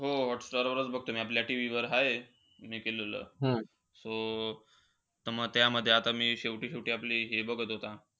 हो हॉटस्टार वरच बघतो मी आपल्या TV वर आहे मी केलेलं. So त म त्या मध्ये, आता मी शेवटी-शेवटी आपलं हे बघत होता,